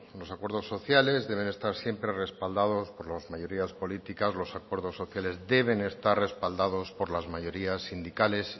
los acuerdos sociales deben estar siempre respaldados por las mayorías políticas los acuerdos sociales deben estar respaldados por las mayorías sindicales